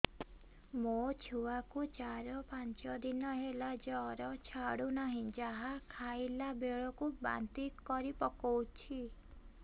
ମୋ ଛୁଆ କୁ ଚାର ପାଞ୍ଚ ଦିନ ହେଲା ଜର ଛାଡୁ ନାହିଁ ଯାହା ଖାଇଲା ବେଳକୁ ବାନ୍ତି କରି ପକଉଛି